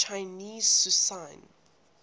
chinese cuisine